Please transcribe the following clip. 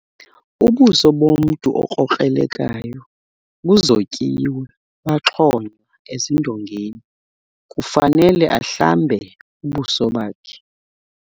Ubuso bomntu okrokrelekayo buzotyiwe baxhonywa ezindongeni. Kufanele ahlambe ubuso bakhe.